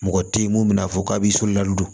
Mɔgɔ tɛ ye mun bɛna fɔ k'a b'i so lali don